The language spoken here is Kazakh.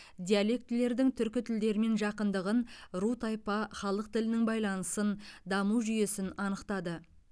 диалектілердің түркі тілдермен жақындығын ру тайпа халық тілінің байланысын даму жүйесін анықтады